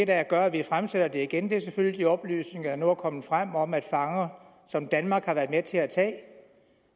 der gør at vi fremsætter det igen er selvfølgelig de oplysninger der nu er kommet frem om at fanger som danmark har været med til at tage